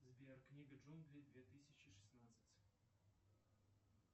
сбер книга джунглей две тысячи шестнадцать